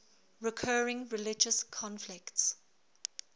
recurring religious conflicts